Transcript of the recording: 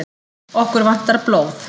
Okkur vantar blóð